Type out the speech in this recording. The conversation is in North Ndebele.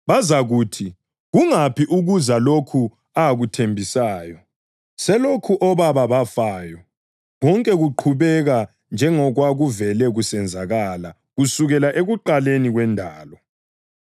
Bazakuthi, “Kungaphi ‘ukuza’ lokhu akuthembisayo? Selokhu obaba bafayo, konke kuqhubeka njengokwakuvele kusenzakala kusukela ekuqaleni kwendalo.”